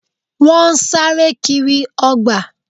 Wọ́n sáré kiri ọgbà